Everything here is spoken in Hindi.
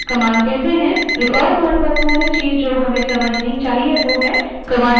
एक और महत्वपूर्ण चीज़ जो हमें समझनी चाहिए वह है commands की संरचना